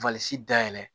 dayɛlɛ